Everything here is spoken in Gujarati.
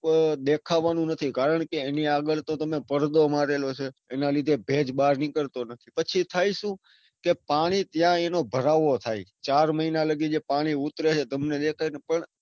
પણ દેખાવાનું નથી કારણકે એની આગળ તો તમે પડદો મારેલો છે. એના લીધે ભેજ બાર નીકળતો નથી. પછી થાય સુ કે પાણી ત્યાં એનો ભરાવો થાય, ચાર મહિના ને કીજે પાણી ઉતરે છે તમને દેખાય છે પણ.